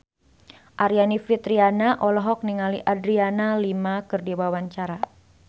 Aryani Fitriana olohok ningali Adriana Lima keur diwawancara